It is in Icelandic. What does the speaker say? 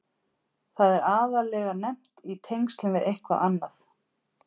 Það er aðallega nefnt í tengslum við eitthvað annað.